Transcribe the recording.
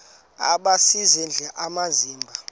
aba sisidl amazimba